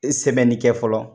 E sɛbɛni kɛ fɔlɔ